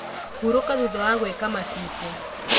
Hurũka thutha wa gwĩka matisi.